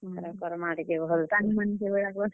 କର୍ ମା ଟିକେ ଭଲ୍ ।